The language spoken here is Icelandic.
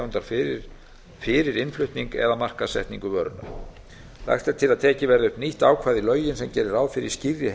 herrar áburðartegundar fyrir innflutning eða markaðssetningu vörunnar lagt er til að tekið verði upp nýtt ákvæði í lögin sem geri ráð fyrir skýrri